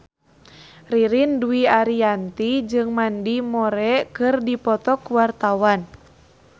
Ririn Dwi Ariyanti jeung Mandy Moore keur dipoto ku wartawan